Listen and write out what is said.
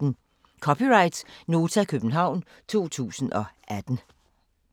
(c) Nota, København 2018